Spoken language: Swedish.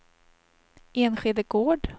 Enskede Gård